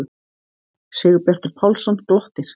Sigurbjartur Pálsson glottir.